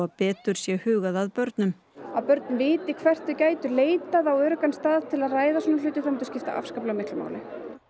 betur sé hugað að börnum að börn viti hvert þau gætu leitað á öruggan stað til að ræða svona hluti það myndi skipta afskaplega miklu máli